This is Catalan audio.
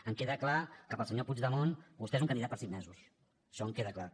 em queda clar que per al senyor puigdemont vostè és un candidat per cinc mesos això em queda clar